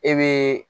E be